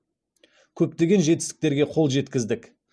көптеген жетістіктерге қол жеткіздік